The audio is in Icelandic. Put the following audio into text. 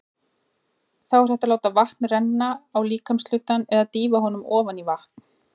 Þá er hægt að láta vatn renna á líkamshlutann eða dýfa honum ofan í vatn.